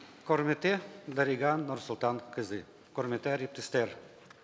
құрметті дариға нұрсұлтанқызы құрметті әріптестер